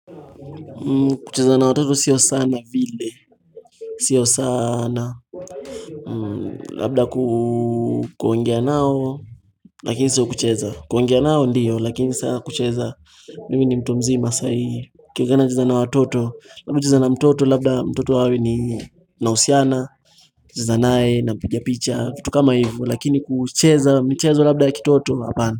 Kucheza na watoto sio sana vile, sio saana, labda kuongea nao, lakini sio kucheza, kuongea nao ndio, lakini saa kucheza, mimi ni mtu mzima sai, ikiwana kucheza na watoto, labda kucheza na mtoto, labda mtoto hawe ni nausiana, kucheza nae, napijapicha, vitu kama hivu, lakini kucheza, michezo labda ya kitoto, hapana.